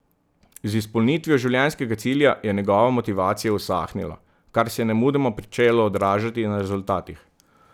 Z izpolnitvijo življenjskega cilja je njegova motivacija usahnila, kar se je nemudoma pričelo odražati na rezultatih.